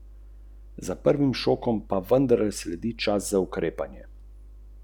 Tako kot vsako leto pričakujejo ogromno število gledalcev.